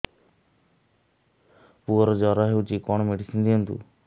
ପୁଅର ଜର ହଉଛି କଣ ମେଡିସିନ ଦିଅନ୍ତୁ